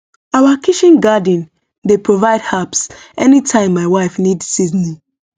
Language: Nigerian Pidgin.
our kitchen garden dey provide herbs anytime my wife need seasoning